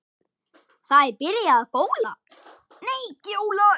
Það er byrjað að gjóla.